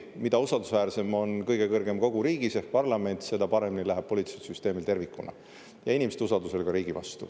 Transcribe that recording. Mida usaldusväärsem on kõige kõrgem kogu riigis ehk parlament, seda paremini läheb poliitilisel süsteemil tervikuna ja inimeste usaldusel ka riigi vastu.